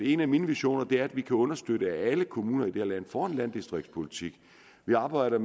en af mine visioner er at vi kan understøtte at alle kommuner i det her land får en landdistriktspolitik vi arbejder